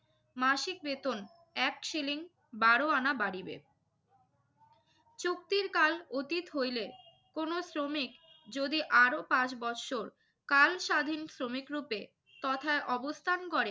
মাসিক বেতন এক শিলিং বারো আনা বাড়িবে। চুক্তির কাল অতীত হইলে কোনো শ্রমিক যদি আরো পাঁচ বৎসরকাল স্বাধীন শ্রমিকরূপে তথা অবস্থান করে